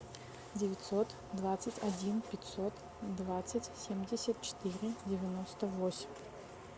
девятьсот двадцать один пятьсот двадцать семьдесят четыре девяносто восемь